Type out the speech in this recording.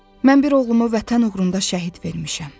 Mən bir oğlumu vətən uğrunda şəhid vermişəm.